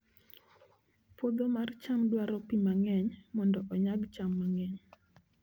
Puodho mar cham dwaro pi mang'eny mondo onyag cham mang'eny